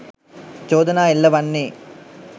චෝදනා එල්ල වන්නේ